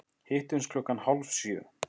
Hittumst klukkan hálf sjö.